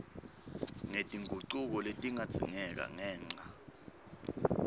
ngetingucuko letingadzingeka ngenca